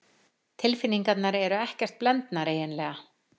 Tilfinningarnar eru ekkert blendnar eiginlega.